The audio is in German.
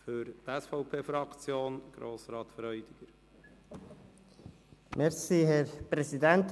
Für die SVP-Fraktion hat Grossrat Freudiger das Wort.